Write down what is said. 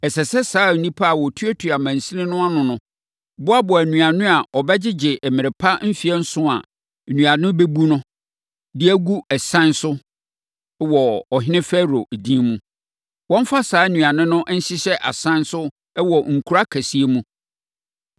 Ɛsɛ sɛ saa nnipa a wɔtuatua amansini no ano no boaboa nnuane a wɔbɛgyegye mmerɛ pa mfeɛ nson a nnuane bɛbu no, de gu asan so wɔ ɔhene Farao edin mu. Wɔmfa saa nnuane no nhyehyɛ asan so wɔ nkuro akɛseɛ mu.